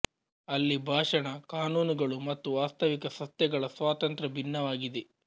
ಅಲ್ಲಿ ಭಾಷಣ ಕಾನೂನುಗಳು ಮತ್ತು ವಾಸ್ತವಿಕ ಸತ್ಯಗಳ ಸ್ವಾತಂತ್ರ್ಯ ಭಿನ್ನವಾಗಿದೆ